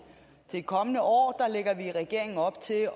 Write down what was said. det kommende år lægger vi i regeringen op til